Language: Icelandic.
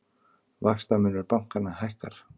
Vaxtamunur bankanna hækkar